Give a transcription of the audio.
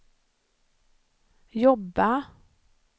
jobba